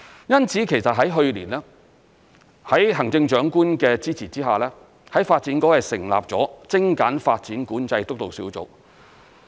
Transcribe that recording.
因此在去年，在行政長官的支持之下，發展局成立了精簡發展管制督導小組。